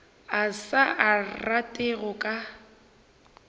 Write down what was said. a sa rate go ka